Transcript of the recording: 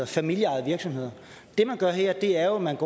familieejede virksomheder det man gør her er jo at man